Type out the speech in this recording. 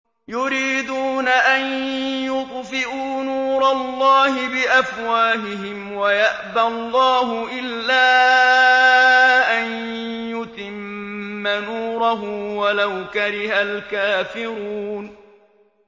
يُرِيدُونَ أَن يُطْفِئُوا نُورَ اللَّهِ بِأَفْوَاهِهِمْ وَيَأْبَى اللَّهُ إِلَّا أَن يُتِمَّ نُورَهُ وَلَوْ كَرِهَ الْكَافِرُونَ